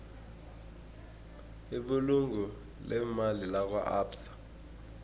ibulungo leemali lakwaabsa